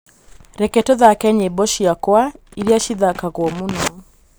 reke tūthake nyīmbo ciakwa iria cithakagwo mūno